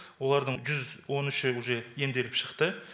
олардың жүз он үші уже емделіп шықты